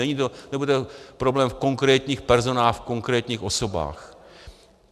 Nebude to problém v konkrétních personách, v konkrétních osobách.